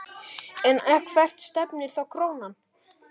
En hvert stefnir þá krónan?